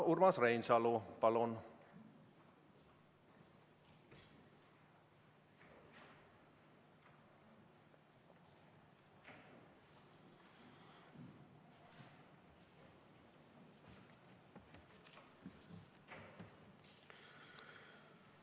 Urmas Reinsalu, palun!